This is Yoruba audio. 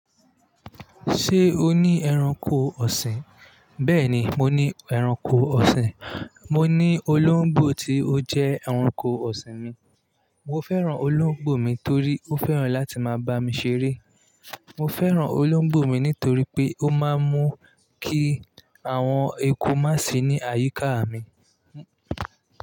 Ṣé o ní ẹranko ọ̀sìn? Bẹ́ẹ̀ni, mo ní ẹranko ọ̀sìn. Mo ní olóńgbò tí ó jẹ́ ẹranko ọ̀sìn mi. Mo fẹ́ràn olóńgbò mi torí ó fẹ́ràn láti máa bá mi ṣeré. Mo fẹ́ràn olóńgbò mi nítorí pé ó máa ń mú kí àwọn eku má sì ní àyíká mi.